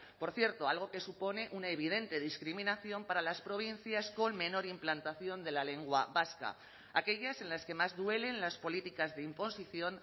por cierto algo que supone una evidente discriminación para las provincias con menor implantación de la lengua vasca aquellas en las que más duelen las políticas de imposición